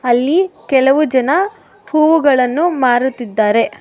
ಅಲ್ಲಿ ಕೆಲವು ಜನ ಹೂವುಗಳನ್ನು ಮಾರುತ್ತಿದ್ದಾರೆ.